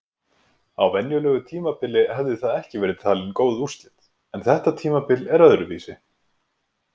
Á venjulegu tímabili hefði það ekki verið talin góð úrslit en þetta tímabil er öðruvísi!